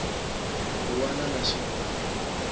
wana na xin wana ku